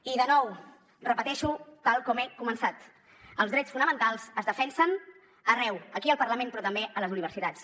i de nou ho repeteixo tal com he començat els drets fonamentals es defensen arreu aquí al parlament però també a les universitats